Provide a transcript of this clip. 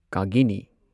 ꯀꯥꯒꯤꯅꯤ